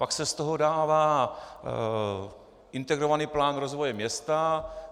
Pak se z toho dává integrovaný plán rozvoje města.